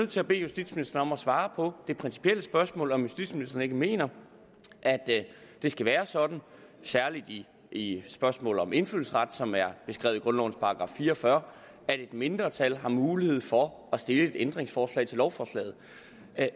til at bede justitsministeren om at svare på det principielle spørgsmål om justitsministeren ikke mener at det skal være sådan særlig i spørgsmål om indfødsret som er beskrevet i grundlovens § fire og fyrre at et mindretal har mulighed for at stille et ændringsforslag til lovforslaget